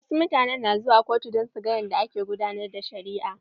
Wasu mutanen na zuwa kotun don su gan yadda ake gudanar da shari'a.